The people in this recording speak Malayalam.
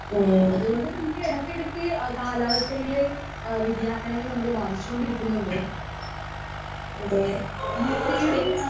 സ്പീക്കർ 1 ഏഹ് അതെ ഇത്.